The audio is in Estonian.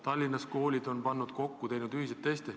Tallinna koolid on pead kokku pannud ja koostanud ühiseid teste.